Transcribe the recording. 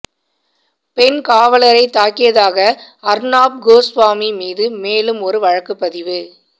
பெண் காவலரைத் தாக்கியதாக அர்னாப் கோஸ்வாமி மீது மேலும் ஒரு வழக்குப்பதிவு